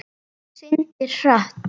Syndir hratt.